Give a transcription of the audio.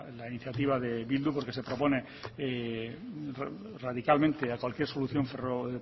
la iniciativa de eh bildu porque se propone radicalmente a cualquier solución ferro